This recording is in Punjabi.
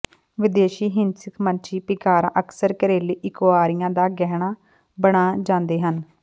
ਵਿਦੇਸ਼ੀ ਹਿੰਸਕ ਮੱਛੀ ਪਿੰਗਾਰਾਂ ਅਕਸਰ ਘਰੇਲੂ ਇਕਕੁਇਰੀਆਂ ਦਾ ਗਹਿਣਾ ਬਣ ਜਾਂਦੇ ਹਨ